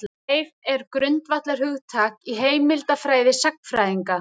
Leif er grundvallarhugtak í heimildafræði sagnfræðinga.